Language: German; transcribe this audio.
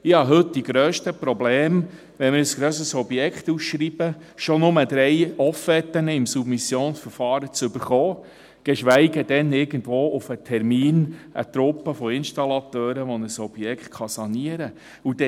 Ich habe heute die grössten Probleme, wenn wir ein grösseres Objekt ausschreiben, schon nur drei Offerten im Submissionsverfahren zu bekommen, geschweige denn irgendwo auf Termin eine Truppe von Installateuren, die ein Objekt sanieren können.